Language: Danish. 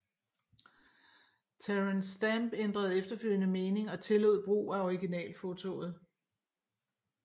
Terence Stamp ændrede efterfølgende mening og tillod brug af originalfotoet